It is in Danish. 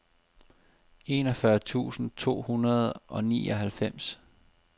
enogfyrre tusind to hundrede og nioghalvfems